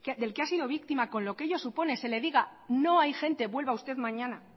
del que ha sido víctima con lo que ello supone se le diga no hay gente vuelva usted mañana